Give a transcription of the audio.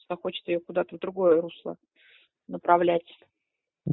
что хочет её куда-то в другое русло направлять